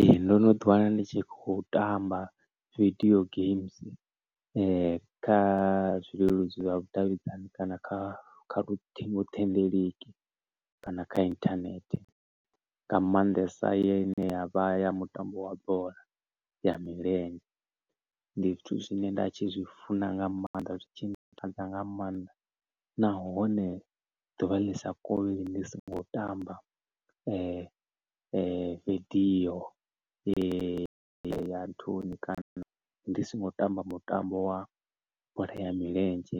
Ee, ndo no ḓi wana ndi tshi khou tamba video games kha zwileludzi zwa vhudavhidzani, kana kha kha luṱingothendeleki, kana kha internet nga maanḓesa ine ya vha ya mutambo wa bola ya milenzhe. Ndi zwithu zwine nda tshi zwi funa nga maanḓa, zwi tshi ntakadza nga maanḓa, nahone ḓuvha lisa kovheli ndi songo tamba vidio ya nthuni kana ndi songo tamba mutambo wa bola ya milenzhe.